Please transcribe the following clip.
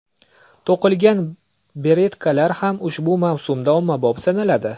To‘qilgan beretkalar ham ushbu mavsumda ommabop sanaladi.